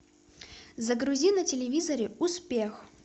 загрузи на телевизоре успех